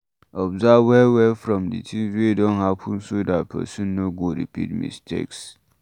Observe well well from di thing wey don happen so dat person no go repeat mistakes